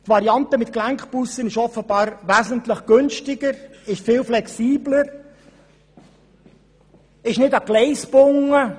Die Variante mit Gelenkbussen ist offenbar wesentlich günstiger, und sie ist viel flexibler, nicht an Gleise gebunden.